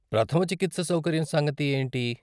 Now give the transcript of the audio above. ప్రథమ చికిత్స సౌకర్యం సంగతి ఏంటి?